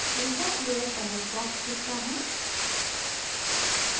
insert layer dialog box दिखता है